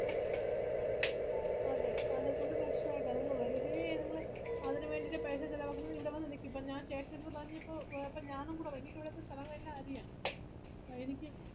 അതെ അത്കൊണ്ട് പ്രശ്നായില്ല നിങ്ങള് വെറുതെ നിങ്ങള് അതിനുവേണ്ടിട്ട് പൈസ ചെലവാക്കുന്നത് ഇവിടെ വന്ന് നിക്ക് ഇപ്പൊ ഞാൻ ചെട്ടന്റെഡ്ത് പറഞ്ഞിപ്പോ എ ഇപ്പൊ ഞാനൊന്ന് പറയാ എനിക്കിവിടുത്തെ സ്ഥലങ്ങളെല്ലാം അറിയാം ആഹ് എനിക്ക്